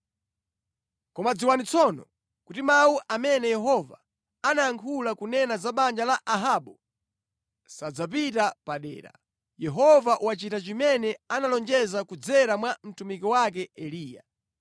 Koma dziwani tsono, kuti mawu amene Yehova anayankhula kunena za banja la Ahabu sadzapita padera. Yehova wachita chimene analonjeza kudzera mwa mtumiki wake Eliya.”